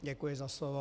Děkuji za slovo.